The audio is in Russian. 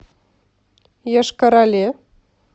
йошкар оле